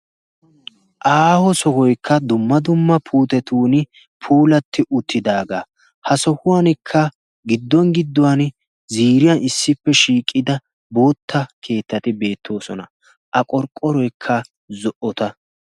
aaho sohoykka dumma dumma puutetun puulatti uttidaagaa ha sohuwankka gidduwan gidduwan ziiriyan issippe shiiqida bootta keettati beettoosona a qorqqoroikka zo''ota